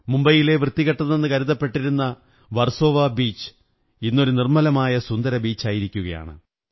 മുംബൈയിലെ വൃത്തികെട്ടതെന്നു കരുതപ്പെട്ടിരുന്ന വര്സോ വാ ബീച് ഇന്നൊരു നിര്മ്മലലമായ സുന്ദര ബീച്ചായിരിക്കയാണ്